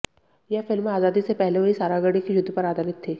यह फिल्म आजादी से पहले हुई सारागढ़ी के युद्ध पर आधारित थी